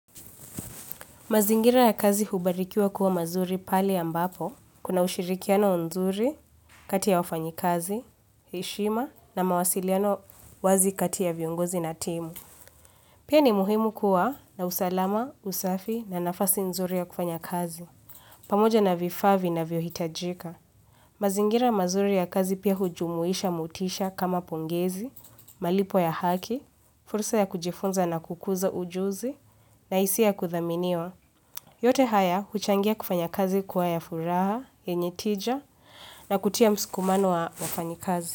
Mazingira ya kazi hubarikiwa kuwa mazuri pahali ambapo, kuna ushirikiano nzuri, kati ya wafanyikazi, heshima, na mawasiliano wazi kati ya viongozi na timu. Pia ni muhimu kuwa na usalama, usafi, na nafasi nzuri ya kufanya kazi, pamoja na vifaa vinavyohitajika. Mazingira mazuri ya kazi pia hujumuisha motisha kama pongezi, malipo ya haki, fursa ya kujifunza na kukuza ujuzi, nahisia ya kuthaminiwa. Yote haya, huchangia kufanya kazi kuwa ya furaha, yenye tija, na kutia msukumano wa wafanyikazi.